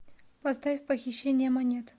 поставь похищение монет